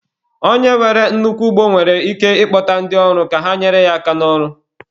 Onye nwere nnukwu ugbo nwere ike ịkpọta ndị ọrụ ka ha nyere ya aka n'ọrụ